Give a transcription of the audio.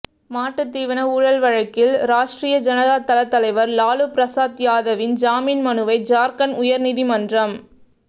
மாட்டுத் தீவன ஊழல் வழக்கில் ராஷ்ட்ரீய ஜனதா தள தலைவா் லாலு பிரசாத் யாதவின் ஜாமீன் மனுவை ஜாா்க்கண்ட் உயா்நீதிமன்றம்